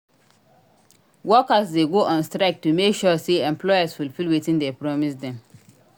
Workers de go on strike to make sure say employers fulfill wetin de promise dem